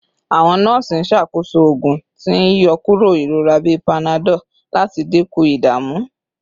Awọn nọọsi n ṣakoso oogun ti n yọkuro irora bi panadol lati dinku idamu